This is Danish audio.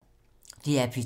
DR P2